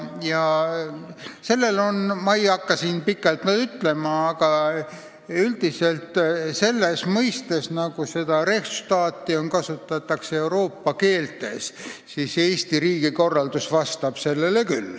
Ma ei hakka siin pikalt rääkima, aga üldiselt vastab Eesti riigi korraldus "Rechtsstaati" mõistele küll nii, nagu seda Euroopa keeltes kasutatakse.